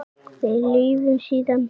Við lifum, síðan deyjum við.